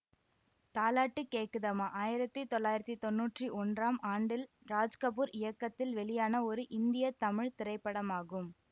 தாலாட்டு கேக்குதம்மா ஆயிரத்தி தொள்ளாயிரத்தி தொன்னூற்றி ஒன்றாம் ஆண்டில் ராஜ்கபூர் இயக்கத்தில் வெளியான ஒரு இந்திய தமிழ் திரைப்படமாகும்